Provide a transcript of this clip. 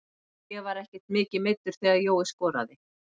Ég var ekkert mikið meiddur þegar Jói skoraði.